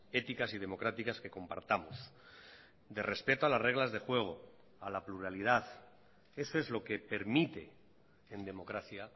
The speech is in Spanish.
éticas y democráticas que compartamos de respeto a las reglas de juego a la pluralidad eso es lo que permite en democracia